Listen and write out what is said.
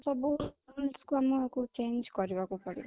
ସବୁ କୁ କରିବାକୁ change କରିବାକୁ ପଡିବ